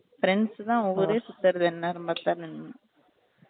friends தான் ஊரே சுத்துறது என்யாரம் பாத்தாலும்